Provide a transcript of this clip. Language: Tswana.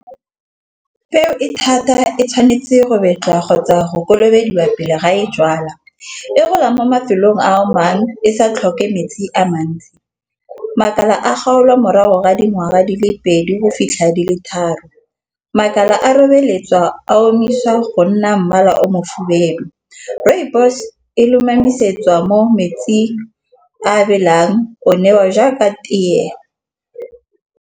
Peo e thata e tshwanetse go betsa kgotsa go kolobeduwa pele ga e jalwa. E golang mo mafelong a mangwe e sa tlhoke metsi a mantsi. Makala a kgaolwa morago ga dingwaga di le pedi ho fitlha di le tharo. Makala a o meletswa a omisiwa go nna mmala o mofubedu. Rooibos e lomamisetswa mo metsing a belang o newa jaaka tee.